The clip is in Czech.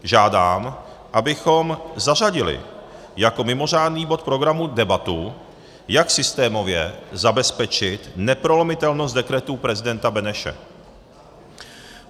Žádám, abychom zařadili jako mimořádný bod programu debatu, jak systémově zabezpečit neprolomitelnost dekretů prezidenta Beneše.